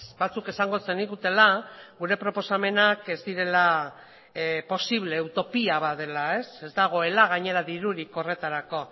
batzuk esango zenigutela gure proposamenak ez direla posible utopia bat dela ez dagoela gainera dirurik horretarako